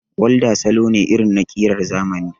Walda salo ne irin na ƙiran zamani